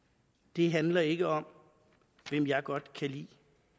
det handler ikke om hvem jeg godt kan lide